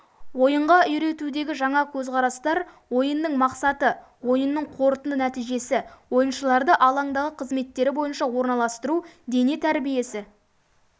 ойынға үйретудегі жаңа көзқарастар ойынның мақсаты ойынның қорытынды нәтижесі ойыншыларды алаңдағы қазметтері бойынша орналастыру дене тәрбиесі